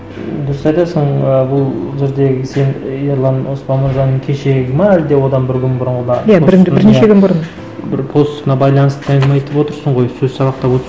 дұрыс айтасың і бұл жердегі сен ерлан нұржанның кешегі ме әлде одан бір күн бұрынғы ма иә бірнеше күн бұрын бір постына байланысты әңгіме айтып отырсың ғой сөз сабақтап